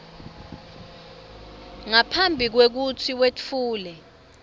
ngaphambi kwekutsi wetfule